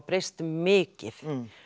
breyst mikið